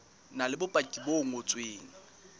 na le bopaki bo ngotsweng